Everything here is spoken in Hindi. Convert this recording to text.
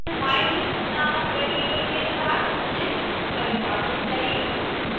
mylist नामक वेरिएबल के साथ list परिभाषित करें